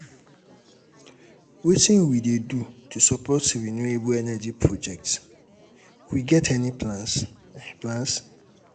wetin we dey do to support renewable um energy projects we get any um plans? plans?